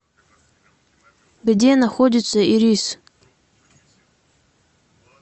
где находится ирис